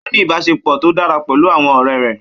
Ó ní ìbáṣepọ̀ tó dára pẹ̀lú àwọn ọ̀rẹ́ rẹ̀.